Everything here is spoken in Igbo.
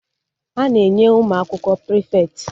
A na-enye ụmụ akwụkwọ prịfeti